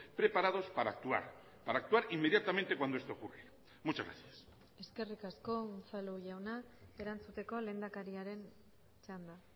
preparados para actuar para actuar inmediatamente cuando esto ocurre muchas gracias eskerrik asko unzalu jauna erantzuteko lehendakariaren txanda